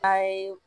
A ye